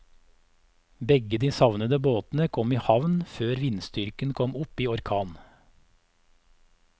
Begge de savnede båtene kom i havn før vindstyrken kom opp i orkan.